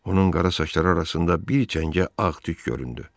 Onun qara saçları arasında bir cəngə ağ tük göründü.